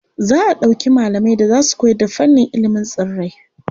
Za a ɗauki malamai da za su koyarda fannin ilimin tsirrai.